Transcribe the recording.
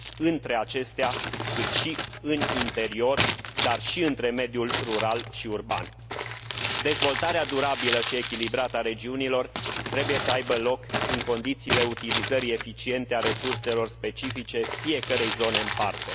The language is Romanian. între acestea, cât și în interior, dar și între mediul rural și urban. Dezvoltarea durabilă și echilibrată a regiunilor trebuie să aibă loc în condițiile utilizării eficiente a resurselor specifice fiecărei zone în parte.